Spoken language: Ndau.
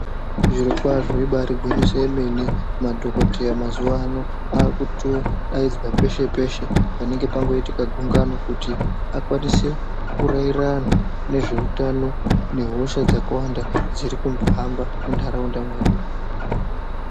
Zvirokwazvo ibaari gwinyiso yemene, madhokodheya mazuwa ano aakutodaidzwa peshe-peshe panenge pangoitika gungano. Kuti akwanise kuraira antu nezveutano, nehosha dzakawanda dzirikuhamba muntaraunda mwedu.